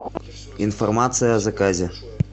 информация о заказе